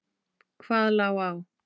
Hvað lá á?